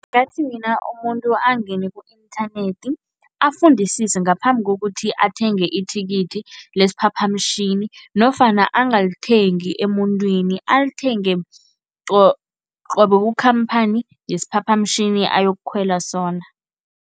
Mina umuntu angene ku-inthanethi, afundisise ngaphambi kokuthi athenge ithikithi lesiphaphamtjhini nofana angalithengi emuntwini, alithenge qobe kukhamphani yesiphaphamtjhini ayokukhwela sona.